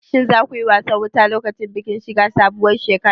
Shin za ku yi wasan wuta lokacin bikin shiga sabuwar shekara?